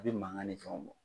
A bɛ mangan ni fɛnw bɔ.